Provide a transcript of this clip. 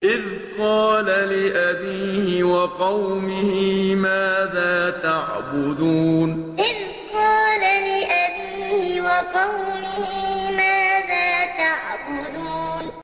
إِذْ قَالَ لِأَبِيهِ وَقَوْمِهِ مَاذَا تَعْبُدُونَ إِذْ قَالَ لِأَبِيهِ وَقَوْمِهِ مَاذَا تَعْبُدُونَ